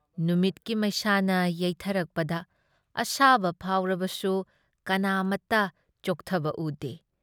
ꯅꯨꯃꯤꯠꯀꯤ ꯃꯩꯁꯥꯅ ꯌꯩꯊꯔꯛꯄꯗ ꯑꯁꯥꯕ ꯐꯥꯎꯔꯕꯁꯨ ꯀꯅꯥꯃꯠꯇ ꯆꯣꯛꯊꯕ ꯎꯗꯦ꯫